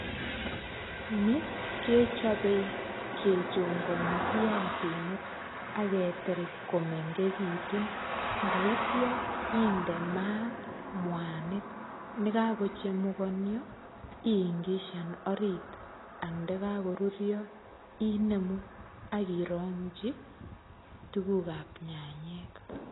Ni kechape kechongani viasinik aketil komengechitun. Ndaityo inde maat, mwanik nekakochemukanio iingishan orit. Ang ndekakorurio, inemu akirongchi tugukap nyanyek.